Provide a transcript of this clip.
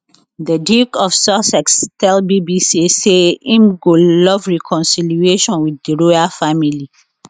di duke of sussex tell bbc say im go love reconciliation wit di royal family